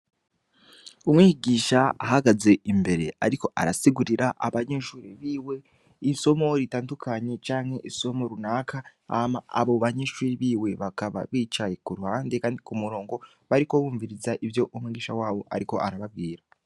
Umwigisha ahagaze imbere ariko arasigurira abanyeshure biwe isomo ritandukanye canke isomo runaka hama abo banyeshure bakaba bicaye ku ruhande kandi ku murongo bariko bumviriza ivyo umwigisha wabo ariko arababwira.